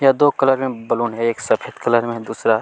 यहाँ पर दो कलर में बैलून है एक सफेद कलर में है दूसरा --